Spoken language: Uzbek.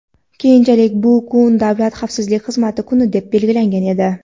keyinchalik bu kun Davlat xavfsizlik xizmati kuni etib belgilangan edi.